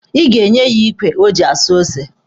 Ị ga-enye ya ikwe o ji asụ ose.